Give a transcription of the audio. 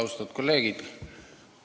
Austatud kolleegid!